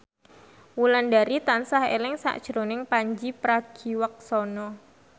Wulandari tansah eling sakjroning Pandji Pragiwaksono